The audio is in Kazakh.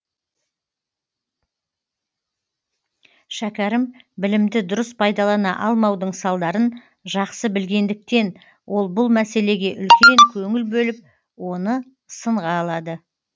шәкәрім білімді дұрыс пайдалана алмаудың салдарын жақсы білгендіктен ол бұл мәселеге үлкен көңіл бөліп оны сынға алады